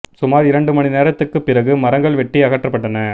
சுமாா் இரண்டு மணி நேரத்துக்குப் பிறகு மரங்கள் வெட்டி அகற்றப்பட்டன